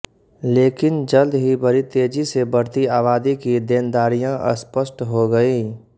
लेकिन जल्द ही बड़ी तेजी से बढ़ती आबादी की देनदारियां स्पष्ट हो गईं